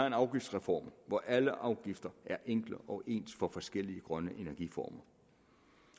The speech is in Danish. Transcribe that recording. en afgiftsreform hvor alle afgifter er enkle og ens for forskellige grønne energiformer